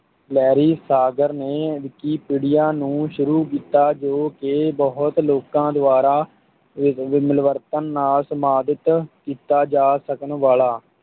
Larry Sanger ਨੇ Wikipedia ਨੂੰ ਸ਼ੁਰੂ ਕੀਤਾ ਜੋ ਕਿ ਬਹੁਤ ਲੋਕਾਂ ਦੁਆਰਾ ਮਿਲਵਰਤਨ ਨਾਲ ਸੰਪਾਦਿਤ ਕੀਤਾ ਜਾ ਸਕਣ ਵਾਲਾ,